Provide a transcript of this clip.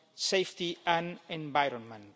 health, safety and the environment.